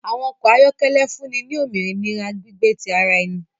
Àwọn ọkọ ayọkẹlẹ fúnni ni òmìnira gbígbé ti àrà ẹni